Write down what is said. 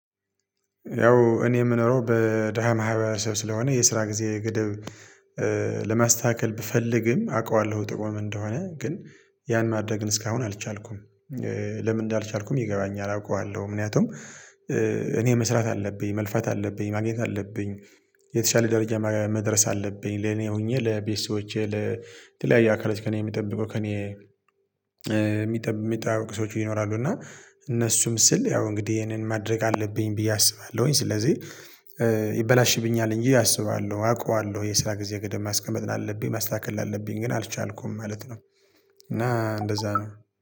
ያው እኔ የምኖረው በደሃ ማህበረሰብ ስለሆነ የስራ ጊዜ ገደብ ለማስተካከል ብፈልግም አውቀዋለሁ ጥቆም እንደሆነ ግን ያን ማድረግ እስካሁን አልቻልኩም። ለምን እንዳልቻልኩም ይገባኛል አውቀዋለሁ ምክንያቱም እኔ መስራት አለብኝ መልፋት አለብኝ ማግኘት አለብኝ። የተሻለ ደረጃ መድረስ አለብኝ ለኔ ሆኜ ለቤተሰቦቼ ለተለያየ አካላቶች ከእኔ የምጠብቁ ከእኔ የሚጠብቁ ሰዎች ይኖራሉ እና እነሱም ስል ያው እንግዲህ ይሄንን ማድረግ አለብኝ ብዬ አስባለሁኝ። ስለዚህ ይበላሽብኛል እንጂ አስባለሁ አውቀዋለሁ የስራ ጊዜ ገደብ ማስቀመጥ አለብኝ ማስተካከል አለብኝ ግን አልቻልኩም ማለት ነው። እና እንደዛ ነው